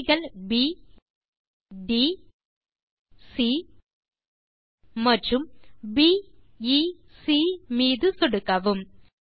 புள்ளிகள் P T C மற்றும் P A C மீது சொடுக்கவும்